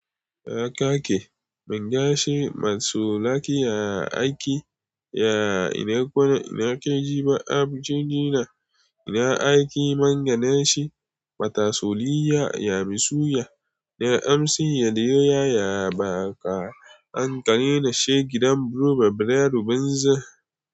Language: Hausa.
Ya kaki, mun gashi matso laki ya aiki, ya ina kwana, ina ke jima, aboji ina, ina aiki mangana shi, matasoliya ya misuya, na amsi yadiyoya ya baqa, an kare nashe gidan broba bredo bunza.